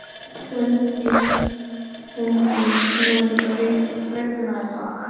Húndís, mun rigna í dag?